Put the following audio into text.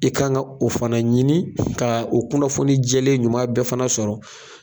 I kan ka o fana ɲini ka o kunnafoni jɛlen ɲuman bɛɛ fana sɔrɔ